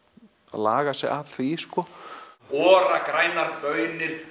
laga sig að því Ora grænar baunir